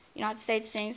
united states census